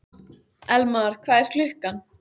Elmar, hvað er klukkan?